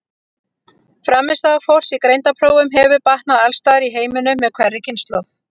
Frammistaða fólks í greindarprófum hefur batnað alls staðar í heiminum með hverri kynslóð.